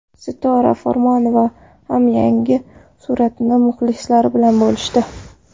Sitora Farmonova ham yangi suratini muxlislari bilan bo‘lishdi.